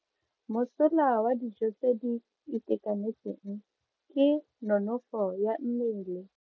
Mosola wa dijo tse di itekanetseng ke nonofo ya mmele.